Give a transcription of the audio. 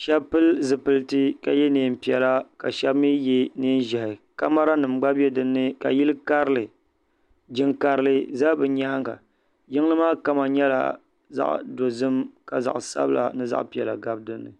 sheba pili zipiliti ka ye niɛn'piɛla ka sheba mee ye niɛn'ʒehi kamara nima gba be dinni jiŋ'karili za bɛ nyaanga jiŋli maa kama nyɛla zaɣa dozim ka zaɣa sabila ni zaɣa piɛla gabi dinni.